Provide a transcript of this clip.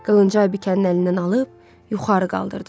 Qılıncı Aybikənin əlindən alıb yuxarı qaldırdı.